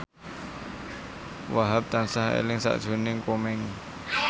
Wahhab tansah eling sakjroning Komeng